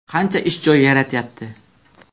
Qancha ish joyi yaratyapti?